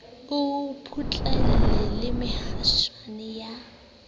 o phuthile le mehaswana ya